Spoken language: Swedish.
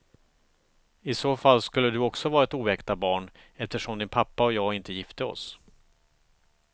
I så fall skulle du också vara ett oäkta barn eftersom din pappa och jag inte gifte oss.